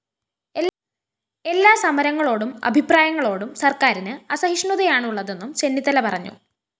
എല്ലാ സമരങ്ങളോടും അഭിപ്രായങ്ങളോടും സര്‍ക്കാരിന് അസഹിഷ്ണുതയാണുള്ളതെന്നും ചെന്നിത്തല പറഞ്ഞു